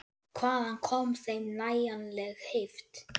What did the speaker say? Og hvaðan kom þeim nægjanleg heift?